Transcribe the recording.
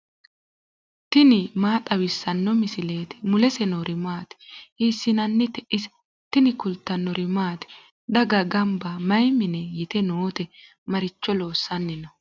tini maa xawissanno misileeti ? mulese noori maati ? hiissinannite ise ? tini kultannori maati? Daga ganbba may mine yitte nootte? Maricho loosanni noo?